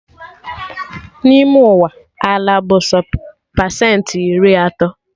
N'ime Ụwa, ala bụ sọ pesentị iri atọ